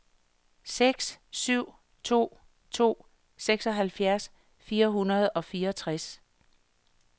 seks syv to to seksoghalvfjerds fire hundrede og fireogtres